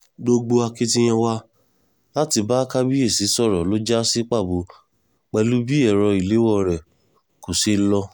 gbogbo akitiyan wa láti bá kábíyèsí sọ̀rọ̀ ló já sí pàbó pẹ̀lú bí ẹ̀rọ ìléwọ́ rẹ̀ kò ṣe lọ